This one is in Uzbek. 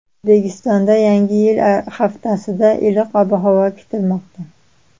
O‘zbekistonda Yangi yil oldi haftasida iliq ob-havo kutilmoqda.